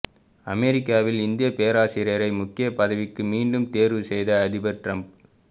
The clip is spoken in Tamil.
அமெரிக்காவில் இந்திய பேராசிரியரை முக்கிய பதவிக்கு மீண்டும் தேர்வு செய்த அதிபர் டிரம்ப்